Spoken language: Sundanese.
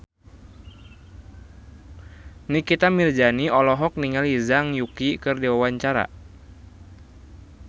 Nikita Mirzani olohok ningali Zhang Yuqi keur diwawancara